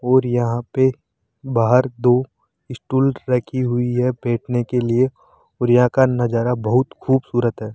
और यहां पे बाहर दो स्टूल रखी हुई है बैठने के लिए औरयां का नजारा बहुत खूबसूरत है।